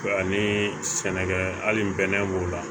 Ani sɛnɛkɛ hali bɛnɛ b'o la